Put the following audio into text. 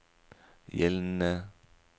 gjeldende